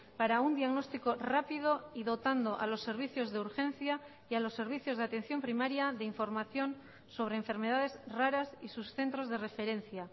para un diagnóstico rápido y dotando a los servicios de urgencia y a los servicios de atención primaria de información sobre enfermedades raras y sus centros de referencia